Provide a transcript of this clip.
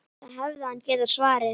Það hefði hann getað svarið.